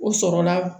O sɔrɔla